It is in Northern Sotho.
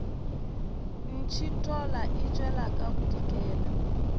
ntšhithola e tšwela ka bodikela